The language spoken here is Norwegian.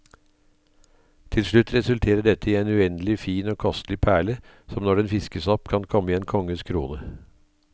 Til slutt resulterer dette i en uendelig fin og kostelig perle, som når den fiskes opp kan komme i en konges krone.